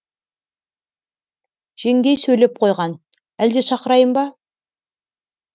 жеңгей сөйлеп қойған әлде шақырайын ба